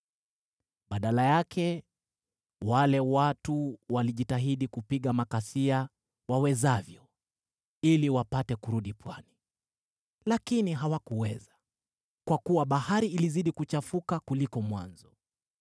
Badala yake, wale watu walijitahidi kupiga makasia wawezavyo ili wapate kurudi pwani. Lakini hawakuweza, kwa kuwa bahari ilizidi kuchafuka kuliko mwanzo.